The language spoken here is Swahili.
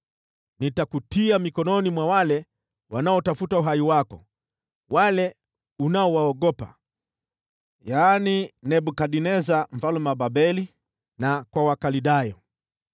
Nitakutia mikononi mwa wale wanaotafuta uhai wako, wale unaowaogopa, yaani Nebukadneza mfalme wa Babeli na kwa Wakaldayo.